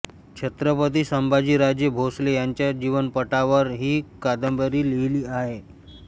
छत्रपती संभाजीराजे भोसले यांच्या जीवनपटावर ही कादंबरी लिहीली आहे